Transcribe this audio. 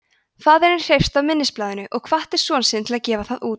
faðirinn hreifst af minnisblaðinu og hvatti son sinn til að gefa það út